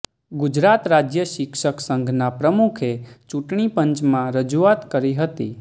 ગુજરાત રાજ્ય શિક્ષક સંઘના પ્રમુખે ચૂંટણીપંચમાં રજૂઆત કરી હતી